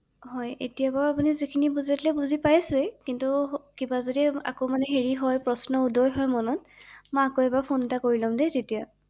হয় এতিয়া বাৰু আপুনি যিখিনি বুজালে বুজি পাইছো ই ৷কিন্ত কিবা যদি আকৌ মানে হেৰি হয় প্ৰশ্ন উদয় হয় মনত মই আকৌ এবাৰ ফোন এটা কৰি ল’ম দেই তেতিয়া ৷